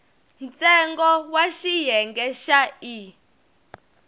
ntsengo wa xiyenge xa e